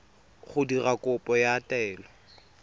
go dira kopo ya taelo